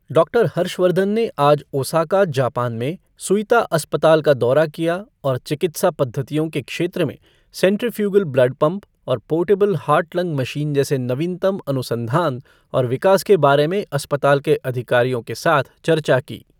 Doctor Harshvardhan ने आज Osaka, Japan में सुइता अस्पताल का दौरा किया और चिकित्सा पद्धतियों के क्षेत्र में सेंट्रिफ्यूगल ब्लड पम्प और पोर्टेबल हार्ट लंग मशीन जैसे नवीनतम अनुसंधान और विकास के बारे में अस्पताल के अधिकारियों के साथ चर्चा की।